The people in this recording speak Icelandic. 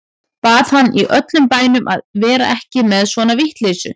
Bað hann í öllum bænum að vera ekki með svona vitleysu.